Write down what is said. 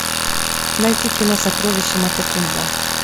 найти кино сокровище матекумбе